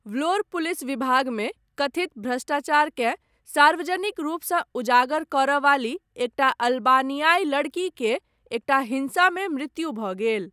व्लोर, police विभागमे कथित भ्रष्टाचारकेँ सार्वजनिक रूपसँ उजागर करयवाली, एकटा अल्बानियाइ लड़की केर, एकटा हिंसामे मृत्यु भऽ गेल।